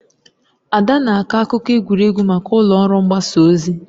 Ada na-akọ akụkọ egwuregwu maka ụlọ ọrụ mgbasa ozi.